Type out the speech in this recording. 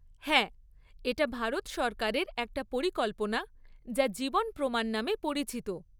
হ্যাঁ, এটা ভারত সরকারের একটা পরিকল্পনা যা জীবন প্রমাণ নামে পরিচিত।